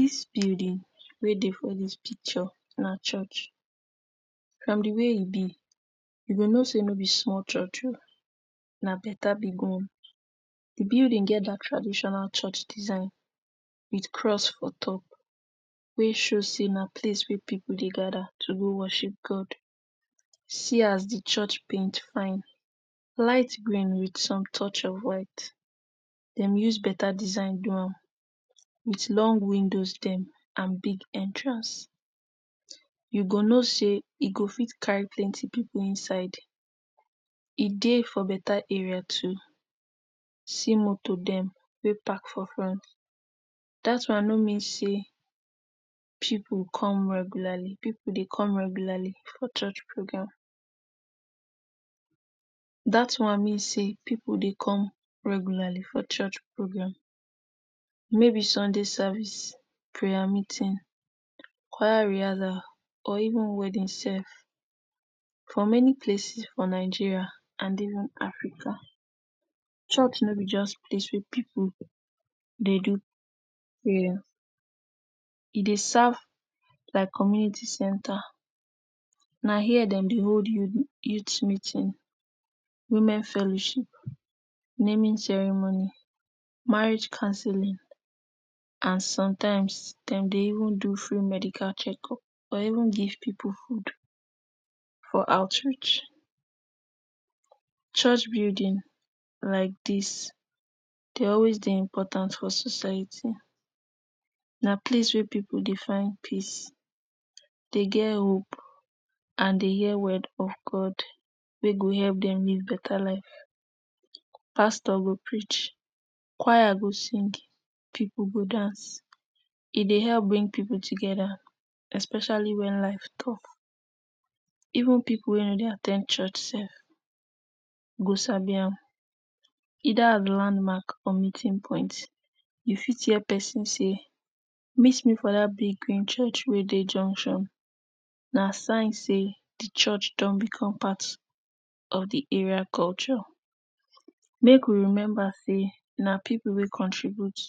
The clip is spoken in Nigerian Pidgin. Dis building wey dey for dis picture na church, from di way e be you g know sey no me small church o na beta big one. Di building et dat traditional church design wit cross for top wey show sey na please wey pipu dey gather to go worship God. See as di church paint fine, light green wit some touch of white, dem use beta design do am wit long windows dem and big entrance. You go know sey e go fit carry plenty pipu inside, e dey for beta area too, see motor dem wey park for front dat one no mean say pipu come regularly, pipu dey come regularly for church program. Dat one mean say pipu dey come regularly for church program, maybe Sunday service, prayer meeting, choir rehearsal or even wedding self. For may places for Nigeria or even Africa, church no be just place wey pipu dey do prayer, e dey serve like community center, na hia dem dey hold youth meeting, women fellowship, naming ceremony, marriage cancelling and some times dem dey even do free medical checkup or even give pipu food for outreach. Church building like dis dey always dey important for society, na place wey pipu dey find peace, dey get hope and dey hear word of God wey go help dem live beta life. Pastor go preach, choir go sing, pipu go dance, e dey help bring pipu together especially wen life tough. Even pipu wey no dey at ten d church self go sabi am either as landmark or meeting point, you fit hear pesin sey meet me for dat big green church wey dey junction, na sign sey di church don become part of di area culture. Make we remember sey na ppipu wey contribute,